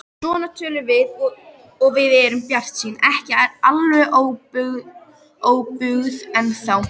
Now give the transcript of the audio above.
Svona tölum við og erum bjartsýn, ekki alveg óbuguð ennþá.